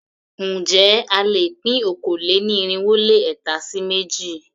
Ǹjẹ́ a lè pín okòó-lé-ní-irínwó-lé-ẹ̀ta sí méjì?